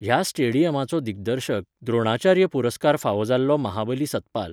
ह्या स्टेडियमाचो दिग्दर्शक, द्रोणाचार्य पुरस्कार फावो जाल्लो महाबली सतपाल.